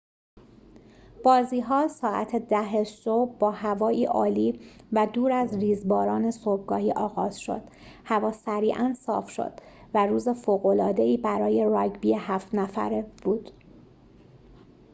بازی‌ها ساعت ۱۰:۰۰ صبح با هوایی عالی و دور از ریزباران صبحگاهی آغاز شد هوا سریعاً صاف شد و روز فوق‌العاده‌ای برای راگبی ۷ نفره بود